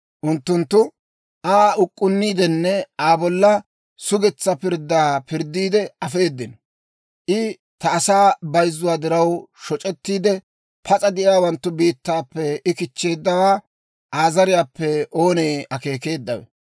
Unttunttu Aa uk'k'unniidenne Aa bolla sugetsaa pirddaa pirddiide afeedino. I ta asaa bayzzuwaa diraw shoc'ettiide, pas'a de'iyaawanttu biittaappe I kichcheeddawaa Aa zariyaappe oonee akeekeeddawe?